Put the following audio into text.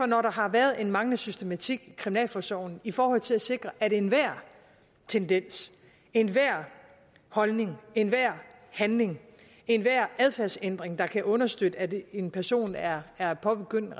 når der har været en manglende systematik i kriminalforsorgen i forhold til at sikre at enhver tendens enhver holdning enhver handling og enhver adfærdsændring der kan understøtte at en en person er er påbegyndt